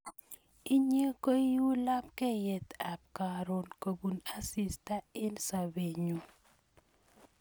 Inye ko i u lapkeyet ap karon kopun asista eng' sobennyu